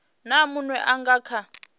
na munwe a nga kha